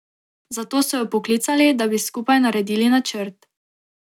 Zato so jo poklicali, da bi skupaj naredili načrt.